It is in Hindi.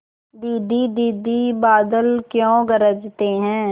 दीदी दीदी बादल क्यों गरजते हैं